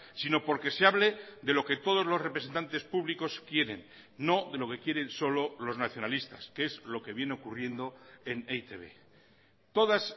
sino porque se hable de lo que todos los representantes públicos quieren no de lo que quieren solo los nacionalistas que es lo que viene ocurriendo en e i te be todas